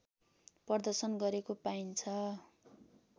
प्रदर्शन गरेको पाइन्छ